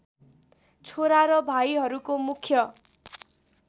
छोरा र भाइहरूको मुख्य